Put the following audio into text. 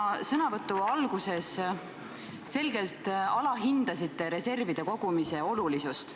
Oma sõnavõtu alguses te selgelt alahindasite reservide kogumise olulisust.